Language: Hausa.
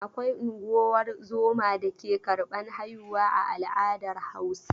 Akwai unguwar zoma dake karban haihuwa a al'adar Hausa.